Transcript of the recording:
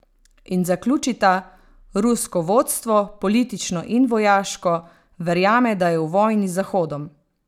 In zaključita: "Rusko vodstvo, politično in vojaško, verjame, da je v vojni z Zahodom.